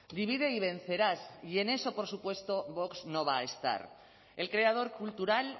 divide y vencerás y en eso por supuesto vox no va a estar el creador cultural